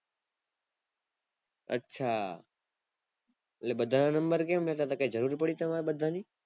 અચ્છા એટલે બધા ના number કેમ લેતા હતા કાય જરૂર પડી તમારે બધાની